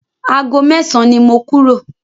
Ago mẹ́san ni mo kúrò.